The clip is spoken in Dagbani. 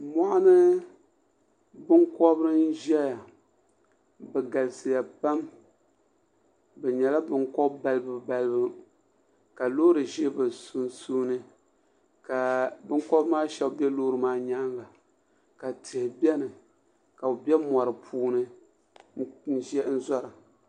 mɔɣini binkobiri n zaya bɛ galisiya pam bɛ nyɛla binkob' balibubalibu ka loori za bɛ sunsuuni ka binkobiri maa shaba be loori maa nyaanga ka tihi beni ka bɛ be mɔri puuni n zora